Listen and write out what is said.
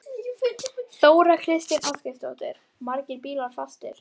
Þóra Kristín Ásgeirsdóttir: Margir bílar fastir?